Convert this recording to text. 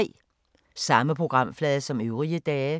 Samme programflade som øvrige dage